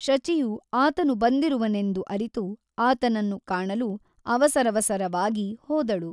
ಶಚಿಯು ಆತನು ಬಂದಿರುವನೆಂದು ಅರಿತು ಆತನನ್ನು ಕಾಣಲು ಅವಸರವಸರವಾಗಿ ಹೋದಳು.